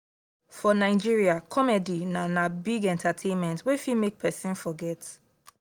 for nigeria comedy na na big entertainment wey fit make person forget